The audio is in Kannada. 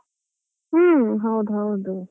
ಹೌದು.